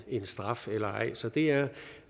en straf eller ej så det er